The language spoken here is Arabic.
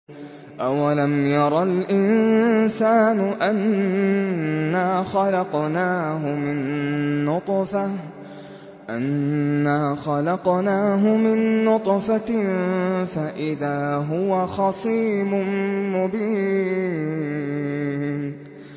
أَوَلَمْ يَرَ الْإِنسَانُ أَنَّا خَلَقْنَاهُ مِن نُّطْفَةٍ فَإِذَا هُوَ خَصِيمٌ مُّبِينٌ